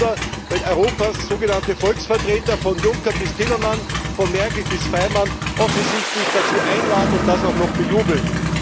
Kein Wunder, wenn Europas sogenannte Volksvertreter, von Juncker bis Timmermans, von Merkel bis Faymann, offensichtlich dazu einladen und das auch noch bejubeln.